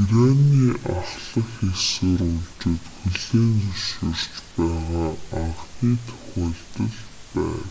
ираны ахлах эх сурвалжууд хүлээн зөвшөөрч байгаа анхны тохиолдол байв